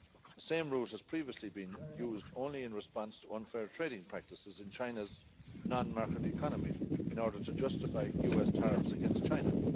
The same rules have previously been used only in response to unfair trading practices in China's non market economy in order to justify US tariffs against China.